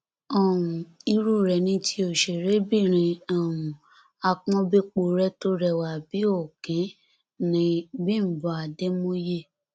um irú rẹ ni ti òṣèrébìnrin um àpọn-béporé tó rẹwà bíi òkín nni bímbọ àdèmóye